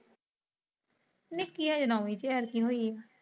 ਨਿਕੀ ਹਜੇ ਨੋਵੀ ਚ ਲਗੀ ਹੋਈ ਆ।